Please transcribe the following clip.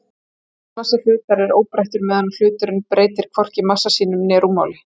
Eðlismassi hlutar er óbreyttur meðan hluturinn breytir hvorki massa sínum né rúmmáli.